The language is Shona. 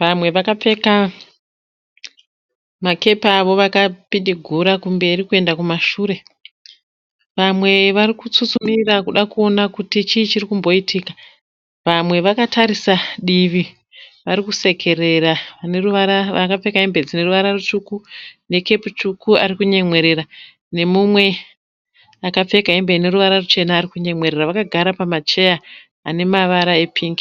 vamwe vakapfeka ma kepi avo vakapidigura kumberi kuenda kumashure. Vamwe varikutsutsumira kuda kuona kuti chii chiri kumboitika. Vamwe vakatarisa divi varikusekerera vakapfeka hembe dzineruvara rutsvuku ne kepu tsvuku varikunyemwerera . Pane mumwe akapfeka hembe dzine ne ruvara ruchena arikunyemwerera zvekare. Vanhu ava vakagara pamacheya anemavara e pingi.